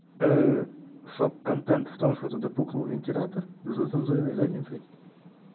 шок-контент в том что туда пукнул вентилятор зацензуренной задницей